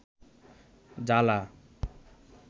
জালা